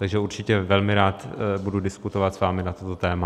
Takže určitě velmi rád budu diskutovat s vámi na toto téma.